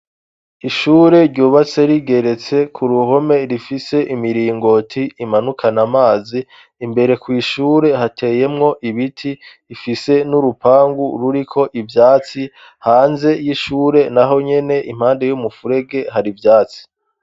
Ishure ryubatse rigeretse ku ruhome rifise imiringoti imanukana amazi imbere kw'ishure hateyemwo ibiti ifise n'urupangu ruriko ivyatsi hanze y'ishure na ho nyene impande y'umufurege hari ivyatsi.